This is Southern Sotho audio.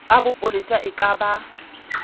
a bopolesa e ka ba